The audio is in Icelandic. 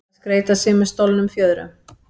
Að skreyta sig með stolnum fjöðrum